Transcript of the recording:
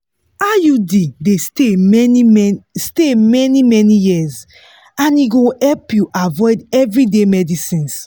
iud dey stay many-many stay many-many years and e go help you avoid everyday medicines.